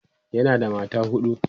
yana da mata huɗu